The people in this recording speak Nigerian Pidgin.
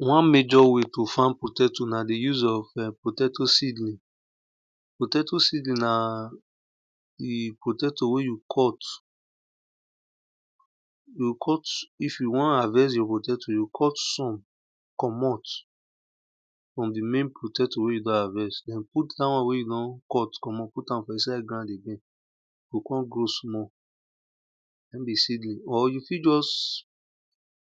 One major way to farm potato na di use of potato seedling potato seedling na di potato wn you cut you cut if you wn harvest your potato you cut somecommot den di main potto wen you don harvest den di main won wey you don commot put am for inside ground gain na in be seeling.